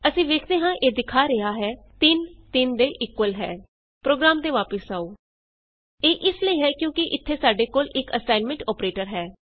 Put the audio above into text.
ਅਸੀਂ ਵੇਖਦੇ ਹਾਂ ਇਹ ਦਿਖਾ ਰਿਹਾ ਹੈ 3 3 ਦੇ ਇਕੁਅਲ ਹੈ 3 ਆਈਐਸ ਇਕੁਅਲ ਟੋ 3 ਪ੍ਰੋਗਰਾਮ ਤੇ ਵਾਪਸ ਆਉ ਇਹ ਇਸ ਲਈ ਹੈ ਕਿਉਂਕਿ ਇਥੇ ਸਾਡੇ ਕੋਲ ਇਕ ਅਸਾਈਨਮੈਂਟ ਅੋਪਰੇਟਰ ਹੈ